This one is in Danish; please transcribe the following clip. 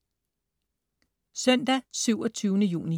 Søndag den 27. juni